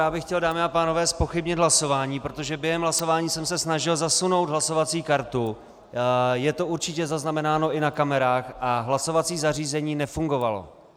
Já bych chtěl, dámy a pánové, zpochybnit hlasování, protože během hlasování jsem se snažil zasunout hlasovací kartu, je to určitě zaznamenáno i na kamerách, a hlasovací zařízení nefungovalo.